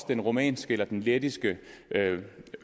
den rumænske eller lettiske